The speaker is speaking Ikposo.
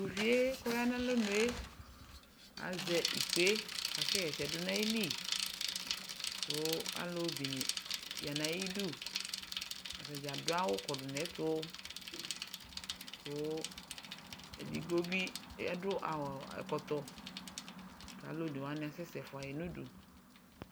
Tovie kɔya na alɔnue azɛ ikpe kasɛ hɛsɛ do na ayili ko alu be ne ya na ayiduAta dza ado awu kɔdu nɛto ko edigbo be ɛdo aɔɔ ɛkɔtɔ la alu one wane asɛsɛ fua ye nudu